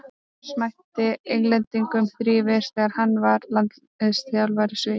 Lars mætti Englendingum þrívegis þegar hann var landsliðsþjálfari Svía.